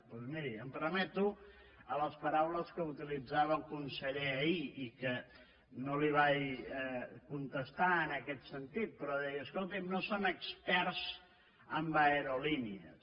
doncs miri em remeto a les paraules que utilitzava el conseller ahir i que no li vaig contestar en aquest sentit però deia escolti’m no són experts en aerolínees